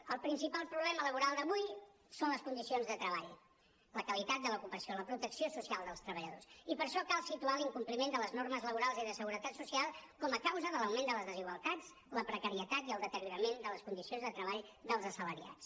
el principal problema laboral d’avui són les condicions de treball la qualitat de l’ocupació la protecció social dels treballadors i per això cal situar l’incompliment de les normes laborals i de seguretat social com a causa de l’augment de les desigualtats la precarietat i el deteriorament de les condicions de treball dels assalariats